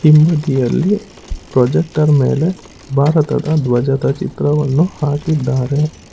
ಇಂಬದಿಯಲ್ಲಿ projector ಮೇಲೆ ಭಾರತದ ಧ್ವಜದ ಚಿತ್ರವನ್ನು ಹಾಕಿದ್ದಾರೆ.